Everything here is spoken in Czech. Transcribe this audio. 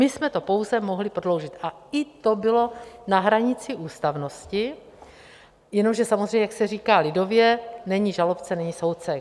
My jsme to pouze mohli prodloužit a i to bylo na hranici ústavnosti, jenomže samozřejmě, jak se říká lidově, není žalobce, není soudce.